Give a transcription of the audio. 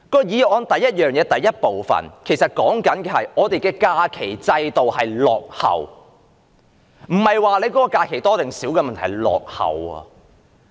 議案的第一部分是說我們的假期制度落後，不是假期的日數，而是制度落後。